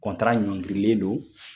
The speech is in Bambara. ɲɔngirilen don.